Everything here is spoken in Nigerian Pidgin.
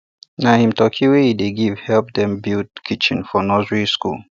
na him turkey wey him dey give help dem build kitchen for nursery school